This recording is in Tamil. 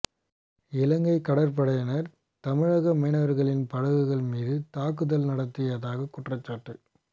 இலங்கை கடற்படையினர் தமிழக மீனவர்களின் படகுகள் மீது தாக்குதல் நடத்தியதாக குற்றச்சாட்டு